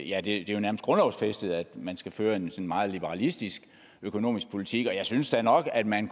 ja det er jo nærmest grundlovsfæstet at man skal føre en meget liberalistisk økonomisk politik og jeg synes da nok at man